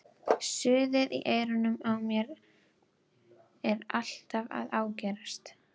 Suðið fyrir eyrunum á mér er alltaf að ágerast.